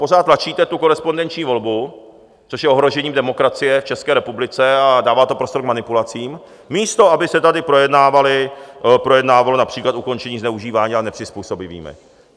Pořád tlačíte tu korespondenční volbu, což je ohrožení demokracie v České republice a dává to prostor k manipulacím, místo aby se tady projednávalo například ukončení zneužívání a nepřizpůsobiví.